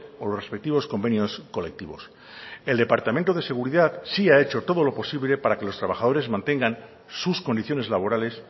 o los respectivos convenios colectivos el departamento de seguridad sí ha hecho todo lo posible para que los trabajadores mantengan sus condiciones laborales